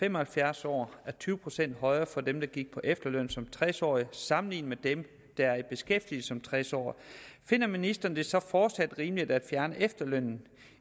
fem og halvfjerds år er tyve procent højere for dem der gik på efterløn som tres årige sammenlignet med dem der er i beskæftigelse som tres årige finder ministeren det så fortsat rimeligt at fjerne efterlønnen